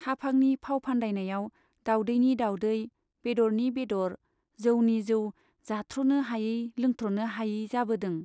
हाफांनि फाव फान्दायनायाव दाउदैनि दाउदै , बेदरनि बेदर , जौनि जौ जाथ्रनो हायै लोंथ्रनो हायै जाबोदों।